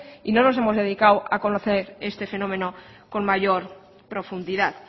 y no nos hemos dedicado a conocer este fenómeno con mayor profundidad